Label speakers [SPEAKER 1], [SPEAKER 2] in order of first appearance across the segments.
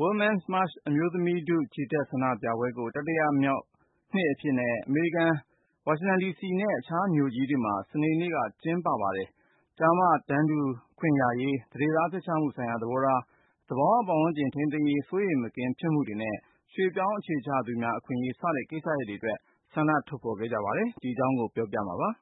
[SPEAKER 1] Women’s March အမျိုးသမီးထု ချီတက်ဆန္ဒပြပွဲကို တတိယနှစ်အဖြစ် အမေရိကန်ပြည်ထောင်စု မြို့တော်ဝါရှင်တန်ဒီစီနဲ့ အခြားမြို့ကြီးတွေမှာ စနေနေ့က ကျင်းပခဲ့ကြပါတယ်။ ကျားမတန်းတူခွင့်ရရေး၊ သန္ဓေသားဖျက်ချမှုဆိုင်ရာ သဘောထား၊ သဘာဝပတ်ဝန်းကျင် ထိန်းသိမ်းရေး စိုးရိမ်မကင်းဖြစ်မှုတွေနဲ့ ရွှေ့ပြောင်းအခြေချသူများ အခွင့်အရေး စတဲ့ကိစ္စရပ်တွေအတွက် ဆန္ဒထုတ်ဖေါ်ခဲ့ကြပါတယ်။ ကိုဉာဏ်ဝင်းအောင်က တင်ပြထားပါတယ်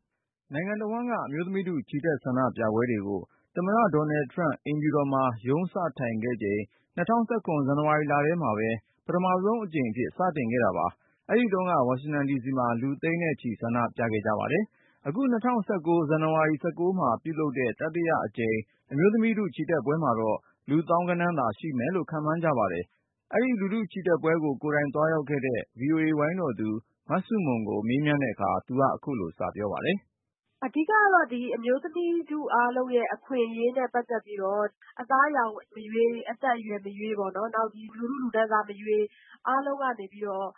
[SPEAKER 1] ။ နိုင်ငံတဝှမ်းက အမျိုးသမီးထု ချီတက်ဆန္ဒပြပွဲကို သမ္မတဒေါ်နယ်ထရမ့် အိမ်ဖြူတော်မှာ ရုံးစထိုင်ခဲ့ချိန် ၂၀၁၇ ခုနှစ် ဇန်နဝါရီလထဲမှာပဲ ပထမဆုံး အကြိမ်အဖြစ် စတင်ခဲ့တာပါ၊ အဲဒီတုန်းက ဝါရှင်တန်ဒီစီမှာ လူသိန်းနဲ့ချီ ဆန္ဒပြခဲ့ကြပါတယ်။ အခု ၂၀၁၉ ဇန်နဝါရီ ၁၉ မှာလုပ်တဲ့ တတိယ အကြိမ် အမျိုးသမီးထုချီတက်ပွဲမှာတော့ လူသောင်းဂဏန်းသာရှိမယ်လို့ ခန့်မှန်းကြပါတယ်။ အဲဒီလူထုချီတက်ပွဲကို ကိုယ်တိုင်သွားရောက်ခဲ့တဲ့ VOA ဝိုင်းတော်သူ မဆုမွန်ကို မေးမြန်းတဲ့အခါ သူက ခုလိုစပြောပါတယ်။
[SPEAKER 2] အဓိက ကတော့ အမျိုးသမီးထုအားလုံးရဲ့အခွင့်အရေးနဲ့ပတ်သက်ပြီးတော့ အသားအရောင်မရွေး၊ အသက်အရွယ်မရွေး၊ နောက် လူထုလူတန်းစားမရွေး၊ အားလုံးကနေပြီးတော့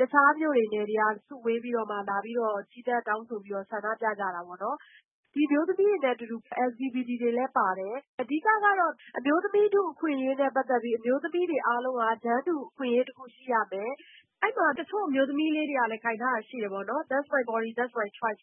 [SPEAKER 2] တခြား မြို့တွေ၊ နယ်တွေကနေ စုဝေးပြီးတော့မှ လာပြီးတော့ ချီတက်တောင်းဆို ဆန္ဒပြကြတာပေါ့နော်။ ဒီအမျိုးသမီးတွေနဲ့အတူတူ LGBT တွေလည်းပါတယ်။ အဓိကကတော့ အမျိုးသမီးထုအခွင့်အရေးနဲ့ပတ်သက်ပြီး အမျိုးသမီးတွေအားလုံးက တန်းတူ အခွင့်အရေးရှိရမယ်။ အဲဒီမှာ တချို့အမျိုးသမီးလေးတွေကလည်း ကိုင်ထားတာရှိတယ်ပေါ့နော်။ That’s my body. That’s my choise.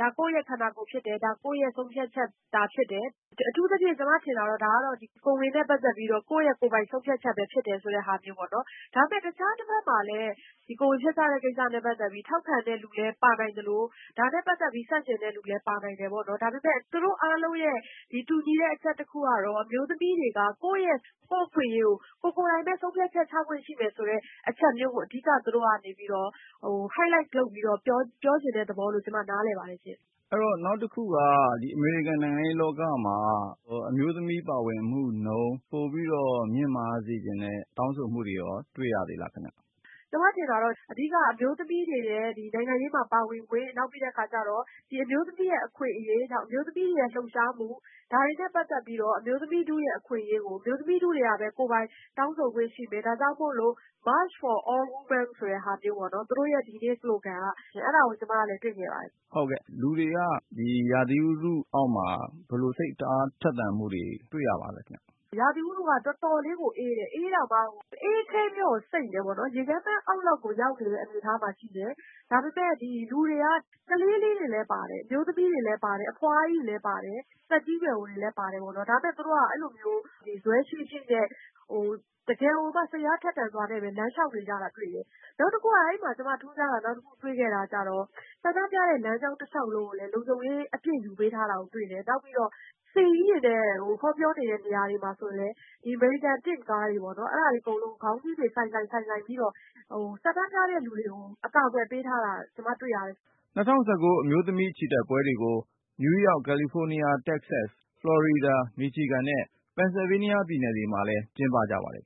[SPEAKER 2] ဒါ ကိုယ့်ရဲ့ခန္ဓာကိုယ်သာဖြစ်တယ်၊ ဒါ ကိုယ့်ရဲ့ဆုံးဖြတ်ချက်သာဖြစ်တယ်။ အထူးသဖြင့် ဒါက ကျမထင်တာကတော့ ကိုယ်ဝန်နဲ့ပတ်သက်ပြီးတော့ ကိုယ့်ရဲ့ကိုယ်ပိုင် ဆုံးဖြတ်ချက်ဖြစ်တယ်ဆိုတဲ့ဟာမျိုး ပေါ့နော်။ ဒါပေမယ့် တခြားတဘက်မှာလည်း ကိုယ်ဝန်ဖျက်ချတဲ့ကိစ္စနဲ့ပတ်သက်ပြီး ထောက်ခံတဲ့သူလည်း ပါနိုင်သလို ဒါနဲ့ပတ်သက်ပြီး ဆန့်ကျင်တဲ့သူလည်း ပါနိုင်တယ်ပေါ့နော်။ ဒါပေမယ့် သူတို့အားလုံးရဲ့ တူညီတဲ့အချက်တခုကတော့ အမျိုးသမီးတွေက ကိုယ့်ရဲ့အခွင့်အရေးအတွက် ကိုယ်ကိုယ်တိုင်ပဲ ဆုံးဖြတ်ချက်ချခွင့်ရှိသင့်တယ်ဆိုတဲ့အချက်မျိုးကို သူတို့က အဓိက Highlight လုပ်ပြီးတော့ ပြောချင်တဲ့သဘောလို့ ကျမ နားလည်ပါတယ်ရှင့်။
[SPEAKER 3] အဲဒီတော့ နောက်တခုက အမေရိကန်နိုင်ငံရေးလောကမှာ အမျိုးသမီးပါဝင်မှုနှုန်း ပိုပြီးတော့ မြင့်မားစေချင်တဲ့တောင်းဆိုမှုတွေကိုရော တွေ့ရသေးလားခင်ဗျ။
[SPEAKER 2] ကျမထင်တာတော့ အဓိကက အမျိုးသမီးတွေရဲ့နိုင်ငံရေးမှာပါဝင်ခွင့်၊ နောက်ပြီးတဲ့အခါကျတော့ အမျိုးသမီးရဲ့အခွင့်အရေး၊ အမျိုးသမီးတွေရဲ့လှုပ်ရှားမှု၊ ဒါတွေနဲ့ပတ်သက်ပြီးတော့ အမျိုးသမီးထုရဲ့အခွင့်အရေးကို အမျိုးသမီးထုကပဲ ကိုယ်ပိုင် တောင်းဆိုခွင့်ရှိမယ်။ ဒါကြောင့်မို့လို့ March for all women သူတို့ရဲ့ ဒီနေ့ ပရိုဂရမ်က။ အဲဒါကို ကျမ တွေ့နေရပါတယ်။
[SPEAKER 3] ဟုတ်ကဲ့၊ လူတွေက ဒီရာသီဥတုအောက်မှာ ဘယ်လို စိတ်အားထက်သန်မှုတွေ တွေ့ရပါလဲခင်ဗျ။
[SPEAKER 2] ရာသီဥတုက တော်တော်လေးမှကို အေးတယ်၊ အေးတာမှအေးခဲပြီတော့ကို စိမ့်နေတယ်ပေါ့နော်။ ရေခဲမှတ်အောက်လောက်ကို ရောက်နေတဲ့အနေအထားမှာရှိနေတယ်။ ဒါပေမယ့် လူတွေက ကလေးလေးတွေလည်းပါတယ်။ အမျိုးသမီးတွေလည်းပါတယ်။ အဖွားကြီးတွေလည်း ပါတယ်။ သက်ကြီးရွယ်အိုတွေလည်း ပါတယ်ပေါ့နော်။ ဒါပေမယ့် သူတို့က ဇွဲရှိရှိနဲ့တကယ်ကိုမှ စိတ်အားထက်သန်စွာနဲ့ပဲ လမ်းလျှောက်နေကြတာ တွေ့တယ်။ နောက်တခုက အဲဒီမှာ ကျမထူးဆန်းတာ နောက်တခုတွေ့ခဲ့တာကျတော့ ဆန္ဒပြတဲ့လမ်းကြောင်းတလျှောက်လုံးကိုလည်း လုံခြုံရေး အပြည့်ယူပေးထားတာကိုတွေ့တယ်။
[SPEAKER 1] ၂၀၁၉ အမျိုးသမီးချီတက်ပွဲတွေကို နယူးယောက်၊ ကယ်လီဖိုးနီးယား၊ တက္ကဆက်၊ ဖလော်ရီဒါ၊ မီချီဂန်နဲ့ ပန်ဆယ်ဗေးနီးယားပြည်နယ်တွေ မှာလည်း ကျင်းပကြပါတယ်